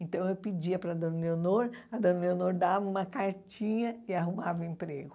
Então eu pedia para a dona Leonor, a dona Leonor dava uma cartinha e arrumava emprego.